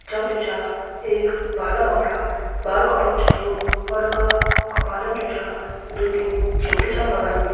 छग जु छा एक बालक अपड़ा बाल कटोण छ आयूं और उ का कपालन जु छा दुई टिन चिमटीं छन लगाईं।